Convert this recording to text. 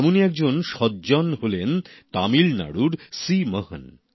এমনই একজন সজ্জন হলেন তামিলনাড়ুর সি মোহন